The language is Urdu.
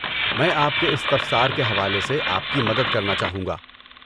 میں آپ کے استفسار کے حوالے سے آپ کی مدد کرنا چاہوں گا۔